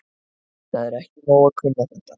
Það er ekki nóg að kunna þetta.